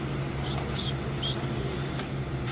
Snýst um sannleikann